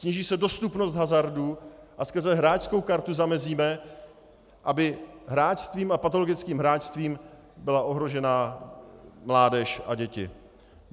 Sníží se dostupnost hazardu a skrze hráčskou kartu zamezíme, aby hráčstvím a patologickým hráčstvím byla ohrožena mládež a děti.